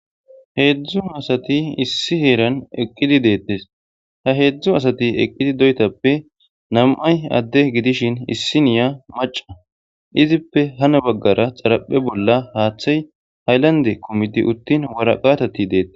Hedzu assati issi herani eqidi detesi ha hedzu asati eqidi doyitappe nami'ayi ade gidishini isiniya macca izippe hini baggara xaripe bolla hathayi hayilanide kumidi utin wariqateti betes